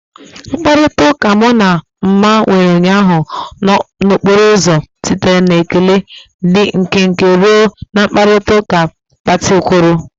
Mkparịta ụka mụ na Nma nwere ụnyaahụ n'okporo ụzọ sitere na ekele dị nkenke ruo na mkparịta ụka gbatịkwuru.